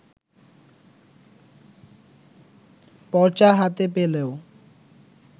পর্চা হাতে পেলেও